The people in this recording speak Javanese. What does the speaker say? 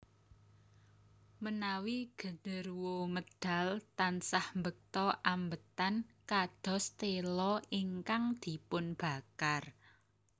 Menawi gederuwo medal tansah mbekta ambetan kados tela ingkang dipunbakar